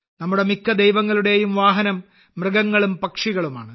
നമ്മുടെ മിക്ക ദൈവങ്ങളുടെയും വാഹനം മൃഗങ്ങളും പക്ഷികളുമാണ്